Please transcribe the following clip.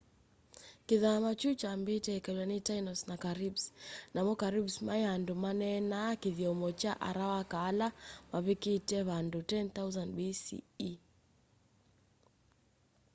kithama kyu kyambite ikalwa ni tainos na caribes namo caribes mai andu maneenaa kithyomo kya arawaka ala mavikite vandu 10,000 bce